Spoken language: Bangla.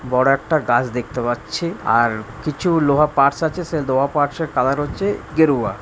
বড় একটা গাছ দেখতে পাচ্ছি আর কিছু লোহা পার্টস আছে সে লোহা পার্টস -এর কালার হচ্ছে গেরুয়া ।